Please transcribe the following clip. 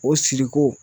O siriko